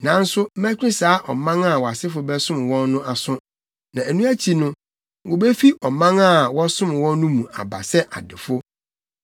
Nanso mɛtwe saa ɔman a wʼasefo bɛsom wɔn no aso, na ɛno akyi no, wobefi ɔman a wɔsom mu no mu aba sɛ adefo.